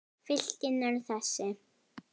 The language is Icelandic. Fylkin eru þessi